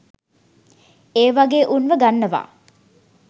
ඒ වගේ උන්ව ගන්නව.